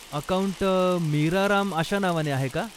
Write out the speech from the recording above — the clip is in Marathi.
अकाऊंट मीरा राम अशा नावाने आहे का?